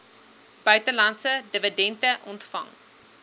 buitelandse dividende ontvang